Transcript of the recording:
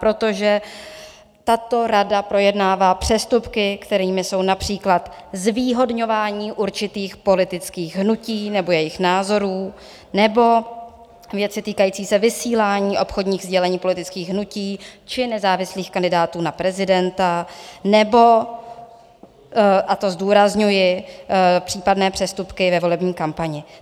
Protože tato rada projednává přestupky, kterými jsou například zvýhodňování určitých politických hnutí nebo jejich názorů nebo věci týkající se vysílání obchodních sdělení politických hnutí či nezávislých kandidátů na prezidenta nebo, a to zdůrazňuji, případné přestupky ve volební kampani.